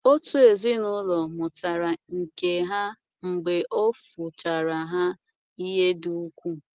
Otu ezinụlọ mụtara nke a mgbe o fuchara ha ihe dị ukwuu.